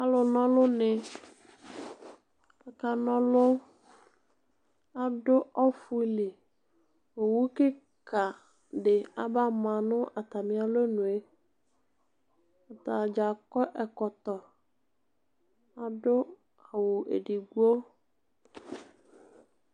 Alʋ n'ɔlʋnɩ aka na ɔlʋ, adʋ ɔfʋ li, owu kɩka dɩ aba ma nʋ atamialɔnu yɛ, atadzaa akɔ ɛkɔtɔ, adʋ awʋ edigbo